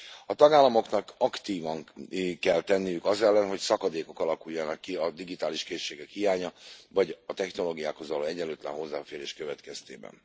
A tagállamoknak aktívan kell tenniük az ellen, hogy szakadékok alakuljanak ki a digitális készségek hiánya, vagy a technológiákhoz való egyenlőtlen hozzáférés következtében.